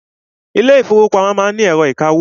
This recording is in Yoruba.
Ilé ìfọwọ́pamo má ń ni ẹ̀rọ ìkawó.